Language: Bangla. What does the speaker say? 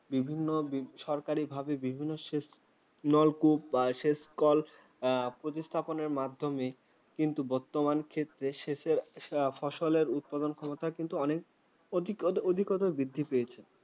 বিভিন্ন সরকারি ভাবে বিভিন্ন নলকূপ বা সেচ কল প্রতিস্থাপনের মাধ্যমে। কিন্তু বর্তমান ক্ষেত্রে সেচের ফসলের উৎপাদন ক্ষমতা কিন্তু অনেক অধিকতর বৃদ্ধি পেয়েছে।